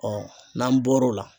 n'an bɔr'o la.